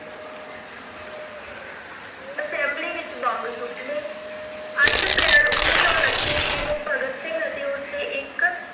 assembly ਵਿੱਚ bomb ਸੁੱਟਣੇ, ਅੱਠ ਅਪ੍ਰੈਲ ਉਨੱੀ ਸੌ ਉੱਨਤੀ ਈਸਵੀ ਨੂੰ ਭਗਤ ਸਿੰਘ ਤੇ ਉਸ ਦੇ ਇੱਕ